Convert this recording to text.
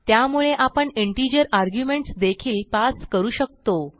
त्यामुळे आपण integer arguments देखील पास करू शकतो